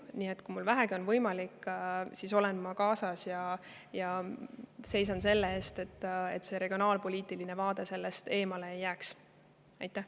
Nii et kui mul vähegi on võimalik, siis olen ma kohal ja seisan selle eest, et regionaalpoliitiline vaade selle eemale ei jääks.